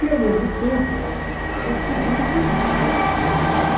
E ao mesmo tempo, isso eu decidi nesse dia mesmo, que tomei a decisão.